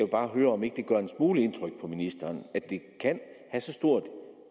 bare høre om ikke det gør en smule indtryk på ministeren at det kan have så stort